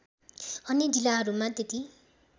अन्य जिल्लाहरूमा त्यति